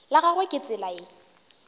la gagwe ke tsela ye